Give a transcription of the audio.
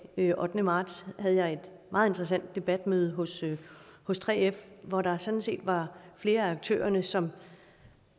den ottende marts havde jeg et meget interessant debatmøde hos hos 3f hvor der sådan set var flere af aktørerne som